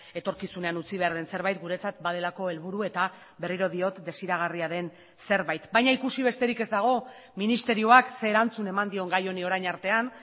etorkizunean utzi behar den zerbait guretzat badelako helburu eta berriro diot desiragarria den zerbait baina ikusi besterik ez dago ministerioak ze erantzun eman dion gai honi orain artean